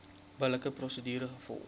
billike prosedure gevolg